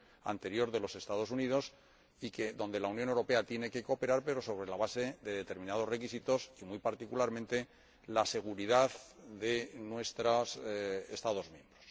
anterior Gobierno de los Estados Unidos y que la Unión Europea tiene que cooperar, pero sobre la base de determinados requisitos y, muy particularmente, la seguridad de nuestros Estados miembros.